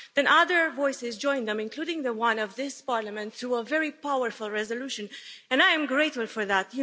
Then other voices joined them, including the one of this Parliament through a very powerful resolution, and I am grateful for that.